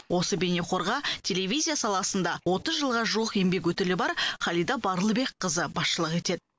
осы бейнеқорға телевизия саласында отыз жылға жуық еңбек өтілі бар халида барлыбекқызы басшылық етеді